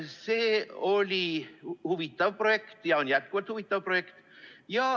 See oli huvitav projekt ja on jätkuvalt huvitav projekt.